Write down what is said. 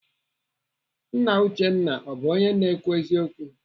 Nna Uchenna ọ bụ onye na-ekwu eziokwu?